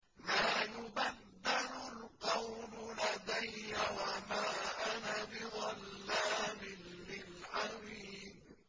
مَا يُبَدَّلُ الْقَوْلُ لَدَيَّ وَمَا أَنَا بِظَلَّامٍ لِّلْعَبِيدِ